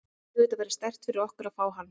Auðvitað væri sterkt fyrir okkur að fá hann.